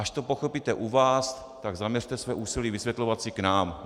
Až to pochopíte u vás, tak zaměřte své úsilí vysvětlovat i k nám.